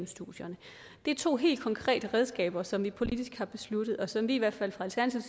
studierne det er to helt konkrete redskaber som vi politisk har besluttet og som vi i hvert fald fra